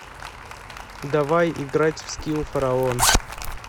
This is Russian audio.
давай играть в скилл фараон